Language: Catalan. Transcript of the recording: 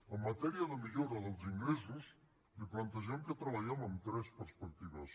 en matèria de millora dels ingressos li plantegem que treballem amb tres perspectives